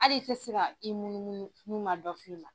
Hali i tɛ se ka i munumunu n'u ma dɔ fi ma.Ɲ